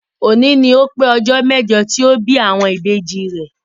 Òní ni ó pé ọjọ́ mẹ́jọ tí ó bí àwọn Ìbejì rẹ̀.